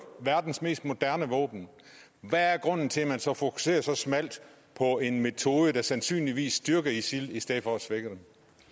verdens mest moderne våben hvad er grunden til at man så fokuserer så smalt på en metode der sandsynligvis styrker isil i stedet for at svække